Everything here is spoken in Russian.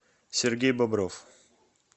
сергей бобров